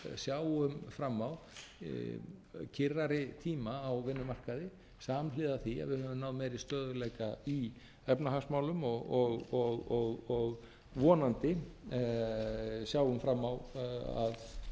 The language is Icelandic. sjáum fram á kyrrari tíma á vinnumarkaði samhliða því að við höfum náð meiri stöðugleika í efnahagsmálum og sjáum vonandi fram á að atvinnuleysi sé að verða viðráðanlegra á næstu